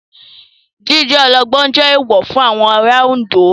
Jíjẹ olóńgbò jẹ́ èèwọ̀ fún àwọn ará Oǹdó.